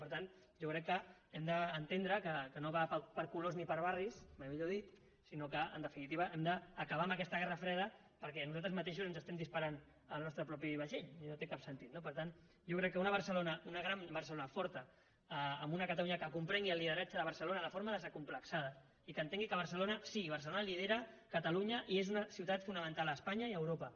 per tant jo crec que hem d’entendre que no va per colors ni per barris mai millor dit sinó que en definitiva hem d’acabar amb aquesta guerra freda perquè nosaltres mateixos ens estem disparant al nostre propi vaixell i no té cap sentit no per tant jo crec que una barcelona una gran barcelona forta en una catalunya que comprengui el lideratge de barcelona de forma desacomplexada i que entengui que barcelona sí barcelona lidera catalunya i és una ciutat fonamental a espanya i a europa